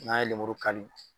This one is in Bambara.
N'a ye kari